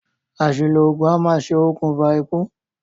Àsìlò ògùn a maá ṣe òkùnfà ikú